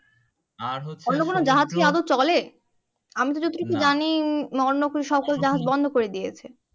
অন্য কোনো জাহাজ কি আদৌ চলে আমি তো যতটুকু জানি অন্য কোনো জাহাজ বন্ধ করে দিয়েছে